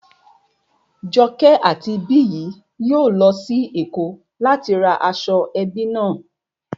Joke àti Biyi yóò lọ sí Èkó láti ra aṣọ ẹbí náà